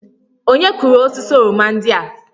Onye kụrụ osisi oroma ndị a?